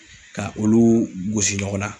Ka olu gosi ɲɔgɔn na.